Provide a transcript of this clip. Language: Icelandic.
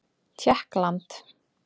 Tékkland